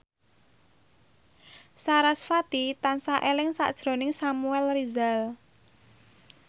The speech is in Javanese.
sarasvati tansah eling sakjroning Samuel Rizal